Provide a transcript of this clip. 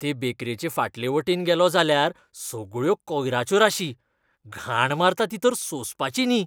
ते बेकरेचे फाटले वटेन गेलों जाल्यार सगळ्यो कोयराच्यो राशी! घाण मारता ती तर सोंसपाची न्ही.